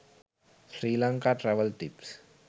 sri lanka travel tips